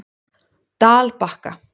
Dalbakka